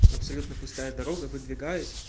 абсолютно пустая дорога выдвигаюсь